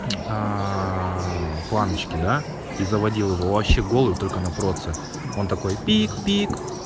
планочки да и заводил его вообще голову только на проце он такой пик-пик